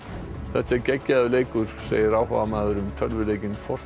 þetta er geggjaður leikur segir áhugamaður um tölvuleikinn